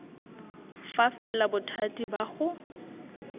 fa fela bothati ba go